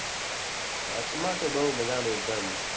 કચ્છમાં તો બહુ મજાનો એક દમ